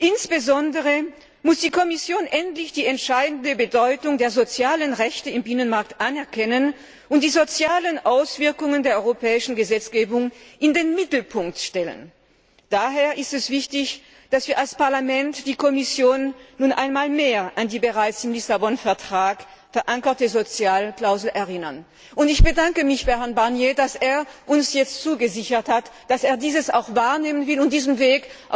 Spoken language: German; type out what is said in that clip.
Insbesondere muss die Kommission endlich die entscheidende Bedeutung der sozialen Rechte im Binnenmarkt anerkennen und die sozialen Auswirkungen der europäischen Gesetzgebung in den Mittelpunkt stellen. Daher ist es wichtig, dass wir als Parlament die Kommission einmal mehr an die bereits im Lissabon Vertrag verankerte Sozialklausel erinnern. Ich bedanke mich bei Herrn Barnier, dass er uns jetzt zugesichert hat, dass er dies wahrnehmen will und diesen Weg